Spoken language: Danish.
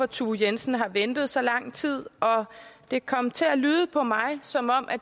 thue jensen har ventet så lang tid det kom til at lyde for mig som om